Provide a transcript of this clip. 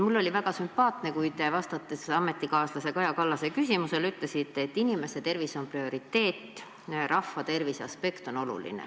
Mulle oli väga sümpaatne, kui te ametikaaslase Kaja Kallase küsimusele vastates ütlesite, et inimeste tervis on prioriteet ja rahvatervise aspekt on oluline.